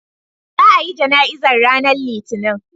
Za a yi jana'izar ranar Litinin.